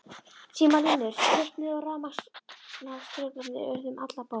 Símalínur slitnuðu og rafmagnstruflanir urðu um alla borg.